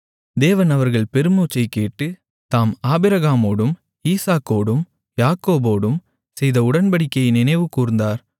தேவன் அவர்கள் பெருமூச்சைக்கேட்டு தாம் ஆபிரகாமோடும் ஈசாக்கோடும் யாக்கோபோடும் செய்த உடன்படிக்கையை நினைவுகூர்ந்தார்